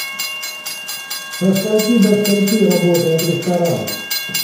со скольки до скольки работает ресторан